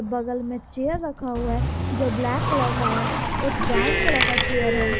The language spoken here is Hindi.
बगल में चेयर रखा हुआ है जो ब्लैक कलर का है एक ब्राउन कलर का चेयर है।